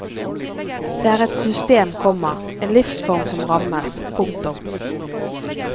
Det er et system, komma en livsform som rammes. punktum